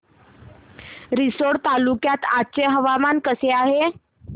रिसोड तालुक्यात आज हवामान कसे आहे